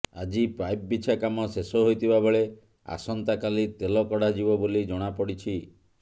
ଆଜି ପାଇପ୍ ବିଛା କାମ ଶେଷ ହୋଇଥିବା ବେଳେ ଆସନ୍ତାକାଲି ତେଲ କଢ଼ାଯିବ ବୋଲି ଜଣାପଡ଼ିଛି